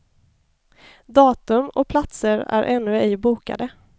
Datum och platser är ännu ej bokade.